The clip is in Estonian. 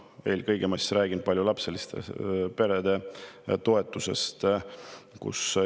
Eelkõige räägin paljulapseliste perede toetusest.